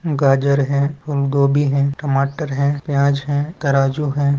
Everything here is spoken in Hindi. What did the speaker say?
गाजर है फूल गोभी है टमाटर है प्याज है तराजू है।